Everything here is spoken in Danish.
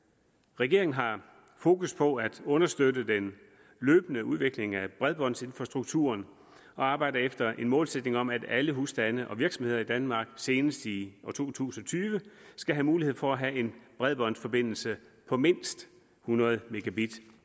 regeringen har fokus på at understøtte den løbende udvikling af bredbåndsinfrastrukturen og arbejder efter en målsætning om at alle husstande og virksomheder i danmark senest i år to tusind og tyve skal have mulighed for at have en bredbåndsforbindelse på mindst hundrede megabit